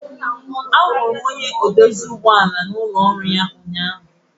Ahụrụ m onye mekaniki n'ụlọ ọrụ ya ụnyahụ